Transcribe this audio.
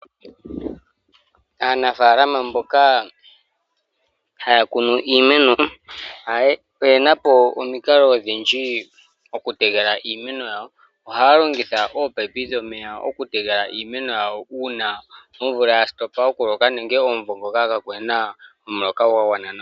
Aanafalama mboka haya hayi iimeno oyena omikalo odhindji dha nkene haya tekele iimeno yawo. Ohaya longitha ominino okutekela iimeno yawo uuna omvula yasheka nenge kaakuna omuloka gwa gwana nawa.